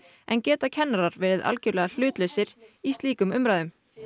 en geta kennarar verið algjörlega hlutlausir í slíkum umræðum